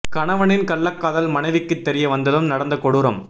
கணவனின் கள்ளக்காதல் மனைவிக்கு தெரிய வந்ததும் நடந்த கொடூரம்